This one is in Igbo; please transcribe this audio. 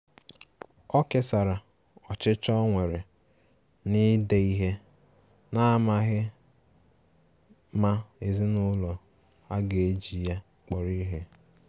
O kesara ọchịchọ ọ nwere na-ide ihe, n'amaghi ma ezinụlọ a ga-eji ya kpọrọ ihe.